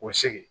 K'u sigi